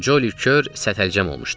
Colly kör sətəlcəm olmuşdu.